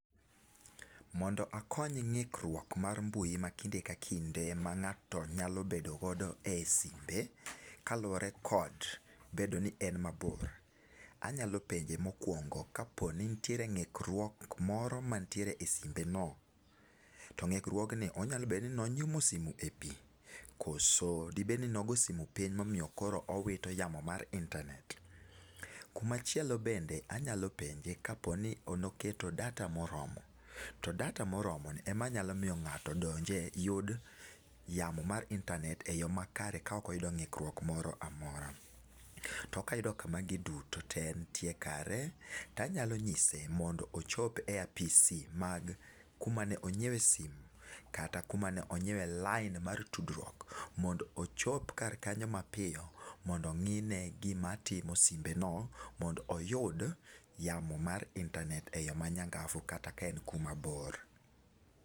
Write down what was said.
Mondo akony ng'ikruok mar mbui mar kinde ka kinde ma ng'ato nyalo bedo godo e simbe kaluore kod bedo ni en mabor, anyalo penje mo okuongo, ka po nitiere ng'ikruok moro ma en e simbe no. to ng'ikruogni onyabedo ni ne onyumo simo e pii ,koso de bed ni ne ogo simo piny e ma omiyo koro owito yamo mar intanet. Kumachielo bende anyalo penje ka po ni ne oketo data moromo to data moro ni ema nyalo miyo ng'ato donje yud yamo mar intanet e yoo makare ka ok oyudo ng'ikruok moro amora .To ka ayudo ka magi duto nie ekare anyalo ng'ise ni ochop e apise mag ku ma ne ong'iewo e simo kata ku ma ne ong'iewe lain mar tudruok mondo ochop kar kanyo ma piyo mondo ong'i ne gi ma timo simbe no mondo oyud yamo mar intanet ma nyang'afu kata ka en ku ma bor.